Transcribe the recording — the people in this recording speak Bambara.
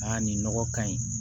nin nɔgɔ ka ɲi